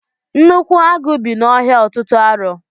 Nnukwu agụ bị na ọhịa ọtụtụ arọ.